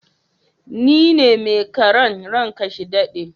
Ni ne mai karan, ran ka ya dade.